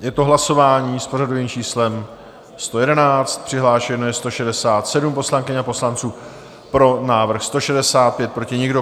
Je to hlasování s pořadovým číslem 111, přihlášeno je 167 poslankyň a poslanců, pro návrh 165, proti nikdo.